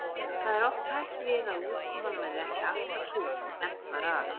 Það er oft hætt við að útkoman verði ekki alltaf sú er stefnt var að.